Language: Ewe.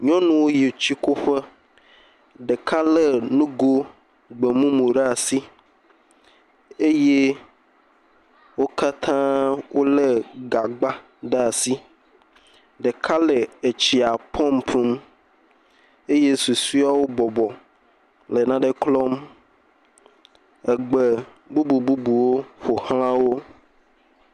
Nyɔnuwo yi tsikuƒe, ɖeka lé nugo gbemumu ɖe asi eye wo katãa wolé gagba ɖe asi, ɖeka le etsia pɔmpum, eye susɔewo bɔbɔ le naɖe klɔm, egbe bubu bubuwo ƒo xla wo.